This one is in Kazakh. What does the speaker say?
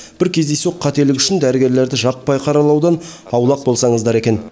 бір кездейсоқ қателік үшін дәрігерлерді жаппай қаралаудан аулақ болсаңыздар екен